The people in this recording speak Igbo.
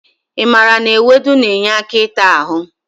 I maara na ewedu na-enye aka ịta ahụ?